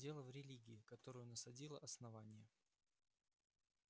дело в религии которую насадило основание